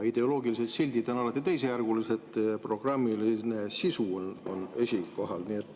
Ideoloogilised sildid on alati teisejärgulised, programmiline sisu on esikohal.